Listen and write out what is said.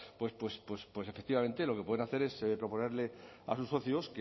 pues efectivamente lo que pueden hacer es proponerles a sus socios